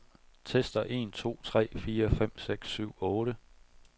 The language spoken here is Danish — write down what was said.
Tester en to tre fire fem seks syv otte.